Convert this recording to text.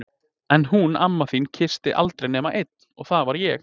En hún amma þín kyssti aldrei nema einn og það var ég!